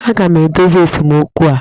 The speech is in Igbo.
Aga m edozi esemokwu a!